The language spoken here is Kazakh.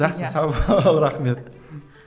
жақсы сау бол рахмет